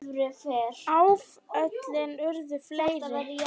Áföllin urðu fleiri.